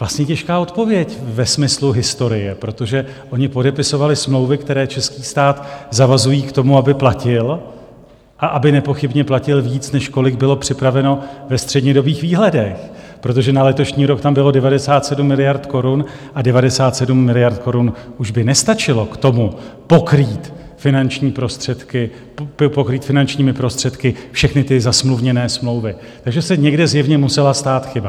Vlastně těžká odpověď ve smyslu historie, protože oni podepisovali smlouvy, které český stát zavazují k tomu, aby platil, a aby nepochybně platil víc, než kolik bylo připraveno ve střednědobých výhledech, protože na letošní rok tam bylo 97 miliard korun, a 97 miliard korun už by nestačilo k tomu, pokrýt finančními prostředky všechny ty zasmluvněné smlouvy, takže se někde zjevně musela stát chyba.